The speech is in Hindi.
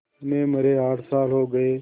उन्हें मरे आठ साल हो गए